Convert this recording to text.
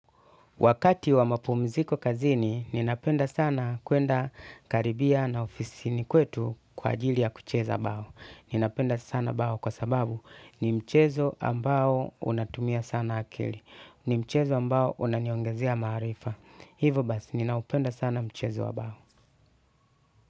Wakati wa mapumiziko kazini, ninapenda sana kuenda karibia na ofisini kwetu kwa ajili ya kucheza bao. Ninapenda sana bao kwa sababu ni mchezo ambao unatumia sana akili. Ni mchezo ambao unaniongazea maarifa. Hivo basi, ninaupenda sana mchezo wa bao.